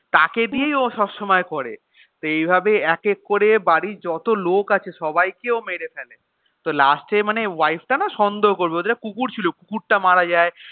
তাকে দিয়েই ও সব সময় করে তো এই ভাবে এক এক করে বাড়ির যত লোক আছে সবাইকে ও মেরে ফেলে তো last এ মানে wife টা না সন্দেহ করবে ওদের একটা কুকুর ছিল কুকুরতা মারা যায়.